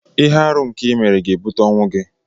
Ihe-árụ a nke i mere ga-ebute ọnwu-gi